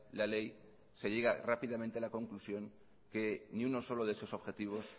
la ley se llega rápidamente a la conclusión que ni uno solo de esos objetivos